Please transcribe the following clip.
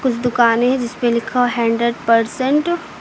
दुकानें हैं जिसमें लिखा हुआ है हंड्रेड परसेंट ।